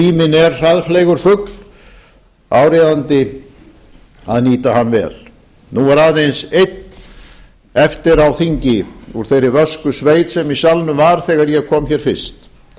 að tíminn er hraðfleygur fugl áríðandi að nýta hann vel nú er aðeins einn eftir á þingi úr þeirri vösku sveit sem í salnum var þegar ég kom hér fyrst